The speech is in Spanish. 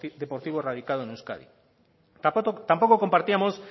deportivo radicado en euskadi tampoco compartíamos